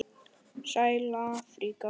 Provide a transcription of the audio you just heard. Sæla Afríka!